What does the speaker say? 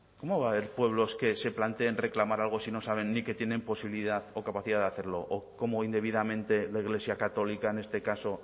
cómo va a haber pueblos que se planteen reclamar algo si no saben ni que tienen posibilidad o capacidad de hacerlo o cómo indebidamente la iglesia católica en este caso